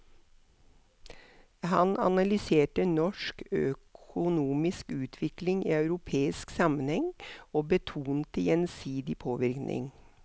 Han analyserte norsk økonomisk utvikling i europeisk sammenheng, og betonte gjensidig påvirkning.